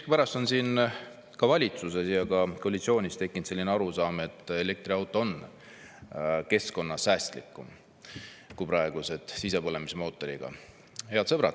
Miskipärast on valitsuses ja ka koalitsioonis tekkinud selline arusaam, et elektriauto on keskkonnasäästlikum kui praegused sisepõlemismootoriga.